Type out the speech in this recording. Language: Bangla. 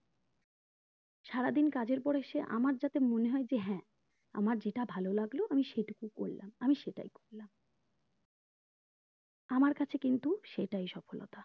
সারাদিন কাজের পরে এসে আমার যাতে মনে হয় যে হ্যাঁ আমার যেটা ভালো লাগলো আমি সেটুকু করলাম আমি সেটাই করলাম আমার কাছে কিন্তু সেটাই সফলতা